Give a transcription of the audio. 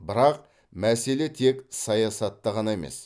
бірақ мәселе тек саясатта ғана емес